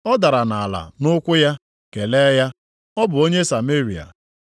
Ọ dara nʼala nʼụkwụ ya, kelee ya. Ọ bụ onye Sameria.